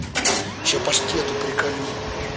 сейчас паштету приколю